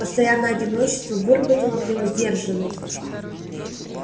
постоянное одиночество выработало в нем сдержанность